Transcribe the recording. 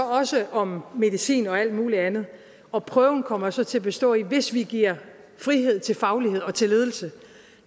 også om medicin og alt muligt andet og prøven kommer så til at bestå i at hvis vi giver frihed til faglighed og til ledelse